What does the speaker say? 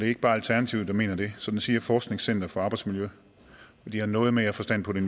ikke bare alternativet der mener det det samme siger forskningscenter for arbejdsmiljø og de har noget mere forstand på det